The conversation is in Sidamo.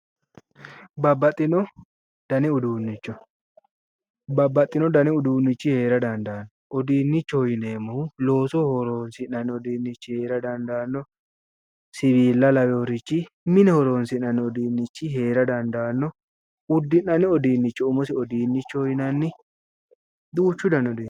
Babbaxino danni uduunicho, babbaxino danni uduunichi heera dandaano, uduunichoho yinneemmohu loosoho horonsi'neemmo uduunichi heera dandaano, siwila lawinorichi mine horonsi'nanniri heera dandaano uddi'nanni danni uduunicho nafa uduunichoho yinneemmo, duuchu danni uduunichi no